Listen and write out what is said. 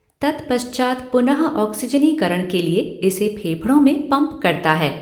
तत्पश्चात पुनःऑक्सीजनीकरण के लिए इसे फेफड़ों में पम्प करता है।